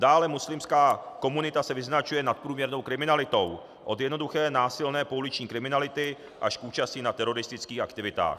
Dále muslimská komunita se vyznačuje nadprůměrnou kriminalitou, od jednoduché násilné pouliční kriminality až k účasti na teroristických aktivitách.